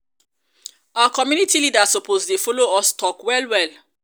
our community leaders suppose dey follow us talk well well.